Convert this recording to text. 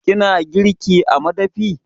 Kina girki a madafi?